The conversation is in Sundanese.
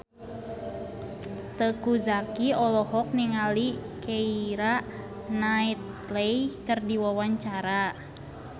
Teuku Zacky olohok ningali Keira Knightley keur diwawancara